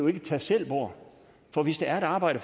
er et tag selv bord for hvis der er et arbejde